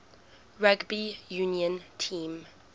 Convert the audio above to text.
rugby union team